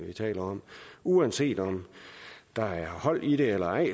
er tale om uanset om der er hold i det eller ej